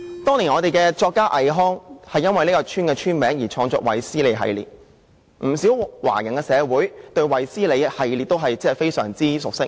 當年本港作家倪匡，也因為這個村的名字而創作了"衛斯理系列"的小說，不少華人社會對"衛斯理系列"也非常熟悉。